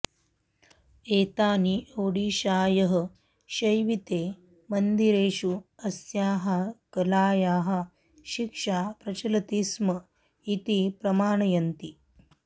एतानि ओडिशायः शैविते मन्दिरेषु अस्याः कलायाः शिक्षा प्रचलति स्म इति प्रमाणयन्ति